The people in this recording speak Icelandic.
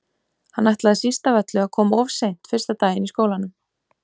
Hann ætlaði síst af öllu að koma of seint fyrsta daginn í skólanum.